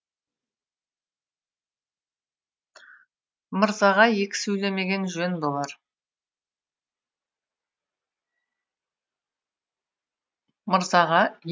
мырзаға екі сөйлемеген жөн болар